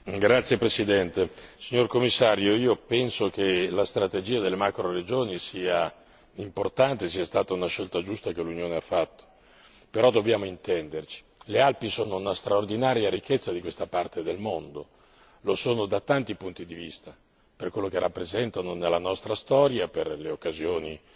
Signora Presidente, onorevoli colleghi, signor Commissario, io penso che la strategia delle macroregioni sia importante e sia stata una scelta giusta che l'Unione ha fatto, però dobbiamo intenderci. Le Alpi sono una straordinaria ricchezza di questa parte del mondo, lo sono da tanti punti di vista per quello che rappresentano nella nostra storia, per le occasioni